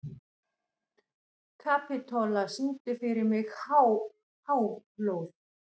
Kapitola, syngdu fyrir mig „Háflóð“.